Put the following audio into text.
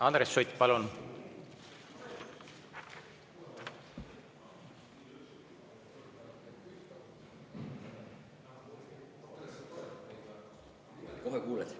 Andres Sutt, palun!